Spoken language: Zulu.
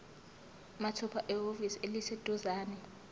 mathupha ehhovisi eliseduzane